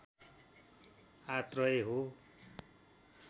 आत्रय हो